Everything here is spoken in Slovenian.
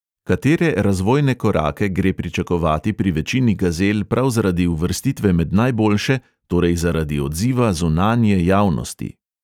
Katere razvojne korake gre pričakovati pri večini gazel prav zaradi uvrstitve med najboljše, torej zaradi odziva zunanje javnosti?